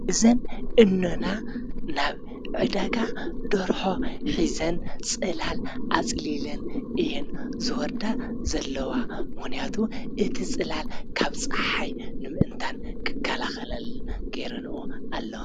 ብዘን እኖና ናብ ዕዳጋ ደርሖ ኂዘን ጽላል ኣጽሊልን እየን ዝወርዳ ዘለዋ ምዉንያቱ እቲ ጽላል ካብ ፀሓይ ንምእንታን ክካላ ኸለልን ጌይረንኦ ኣለ።